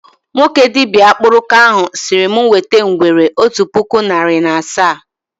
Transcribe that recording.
Nwoke dibịa akpụrụka ahụ sịrị mụ wete ngwere otu puku narị na asaa